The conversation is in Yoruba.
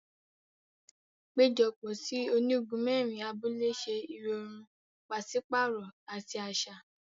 Ipejọpọ sí ònígún mẹrin abúlé ṣe irọrun paṣipaarọ ati aṣa.